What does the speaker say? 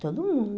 Todo mundo.